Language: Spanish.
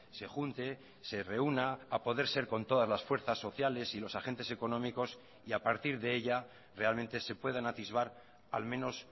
se junte se reúna a poder ser con todas las fuerzas sociales y los agentes económicos y a partir de ella realmente se puedan atisbar al menos